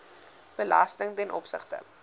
belasting ten opsigte